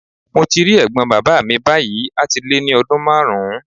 Mo ti rí ẹ̀gbọ́n bàbá mi báyìí a ti lé ní ọdún márùn-ún.